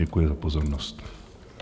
Děkuji za pozornost.